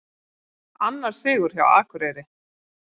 Annar sigur hjá Akureyri